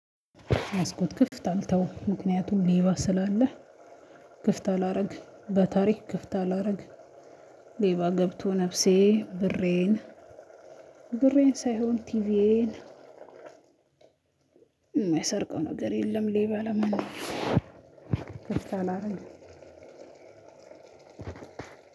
መስኮት ክፍት አልተውም ምክንያቱም ሌባ ስላለ ክፍት አላረግም በታሪክ ክፍት አላረግም። ሌባ ገብቶ ነፍሴ ብሬን ብሬን ሳይሆን ቲቪዬን! እማይሰርቀው ነገር የለም ሌባ ለምንም ክፍት አላረግም።